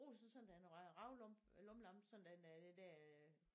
Bruger du så sådan en rav lampe lommelampe sådan at øh det der øh